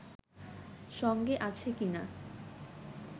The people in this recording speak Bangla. সঙ্গে আছে কিনা